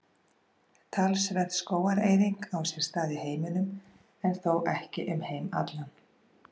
Talsverð skógareyðing á sér stað í heiminum en þó ekki um heim allan.